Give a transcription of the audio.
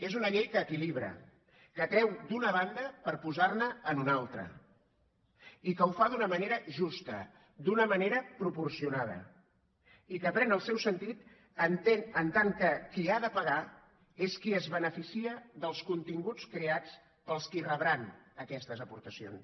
és una llei que equilibra que treu d’una banda per posar ne en una altra i que ho fa d’una manera justa d’una manera proporcionada i que pren el seu sentit en tant que qui ha de pagar és qui es beneficia dels continguts creats pels que rebran aquestes aportacions